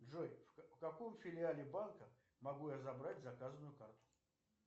джой в каком филиале банка могу я забрать заказанную карту